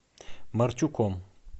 марчуком